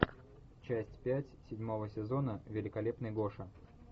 часть пять седьмого сезона великолепный гоша